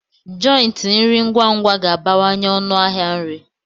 jòintí nri ngwa ngwa ga-abawanye ọnụ ahịa nri